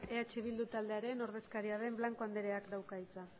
eh bildu taldearen ordezkaria den blanco andreak dauka hitza